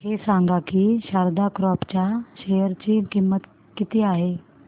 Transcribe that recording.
हे सांगा की शारदा क्रॉप च्या शेअर ची किंमत किती आहे